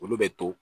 Olu bɛ to